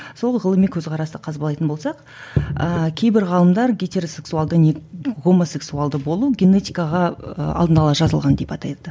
сол ғылыми көзқарасты қазбалайтын болсақ ыыы кейбір ғалымдар гетеросексуалды гомосексуалды болу генетикаға ы алдын ала жазылған деп атайды